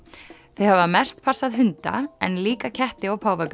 þau hafa mest passað hunda en líka ketti og páfagauka